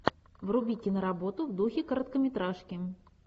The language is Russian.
вруби киноработу в духе короткометражки